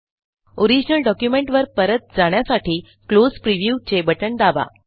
original document वर परत जाण्यासाठी क्लोज प्रिव्ह्यू चे बटण दाबा